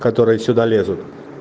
которые сюда лезут